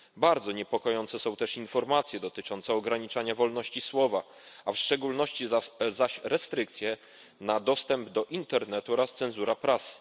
Bardzo niepokojące są też informacje dotyczące ograniczania wolności słowa, a w szczególności zaś restrykcje w dostępie do internetu oraz cenzura prasy.